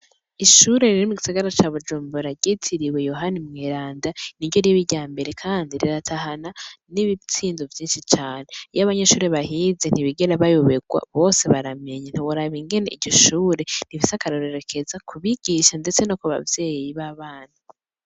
Ishure riri mu gisagara ca Bujumbura ryitiriwe Yohani Mweranda niryo riba irya mbere Kandi riratahana n'ibitsindo vyinshi cane. Iyo abanyeshure bahize ntibigera bayoberwa ,bose baramenya ntiworaba ingene iryo shure rifise akarorero keza ku bigisha ndetse no ku bavyeyi b'abana.